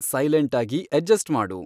silent ಆಗಿ adjust ಮಾಡು